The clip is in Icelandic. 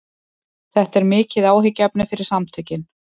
Þetta er mikið áhyggjuefni fyrir samtökin